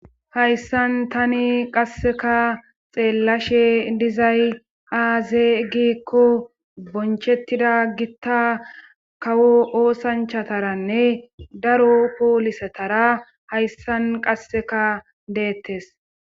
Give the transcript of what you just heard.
hayssan tani qasseka xeellashe dizay azee gikko bonchettida gitta kawo oosanchataranne daro poolisetara hayssan qasseka deettes